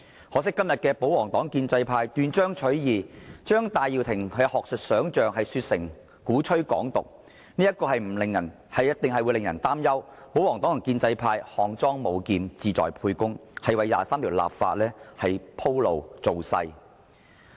可惜，今天保皇黨和建制派斷章取義，將戴耀廷的學術想象說成鼓吹"港獨"，必定會令人擔憂保皇黨和建制派是"項莊舞劍，志在沛公"，為《基本法》第二十三條立法鋪路、造勢。